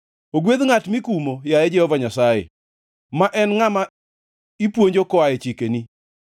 Ogwedh ngʼat mikumo, yaye Jehova Nyasaye, ma en ngʼama ipuonjo koa e chikeni;